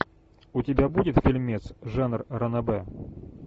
у тебя будет фильмец жанр ранобэ